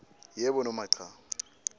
yebo noma cha